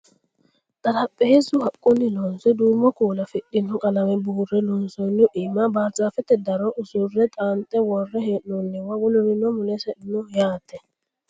xarapheezzu haqqunni loonse duumo kuula afidhino qalame buurre loonsoonnihu iima barzaafete daro usurre xaanxe worre hee'noonniwa wolurino mulesi no yaate